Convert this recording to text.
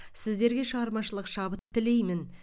сіздерге шығармашылық шабыт тілеймін